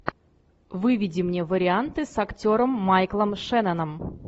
выведи мне варианты с актером майклом шенноном